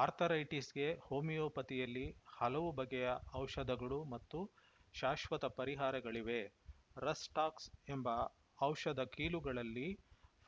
ಆರ್ಥರೈಟಿಸ್‌ಗೆ ಹೋಮಿಯೋಪತಿಯಲ್ಲಿ ಹಲವು ಬಗೆಯ ಔಷಧಗಳು ಮತ್ತು ಶಾಶ್ವತ ಪರಿಹಾರಗಳಿವೆ ರಸ್‌ ಟಾಕ್ಸ್‌ ಎಂಬ ಔಷಧ ಕೀಲುಗಳಲ್ಲಿ